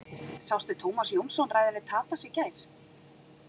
Sástu Tómas Jónsson ræða við Tadas í gær?